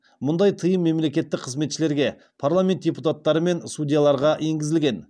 мұндай тыйым мемлекеттік қызметшілерге парламент депутаттары мен судьяларға енгізілген